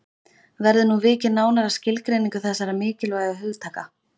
Verður nú vikið nánar að skilgreiningu þessara mikilvægu hugtaka.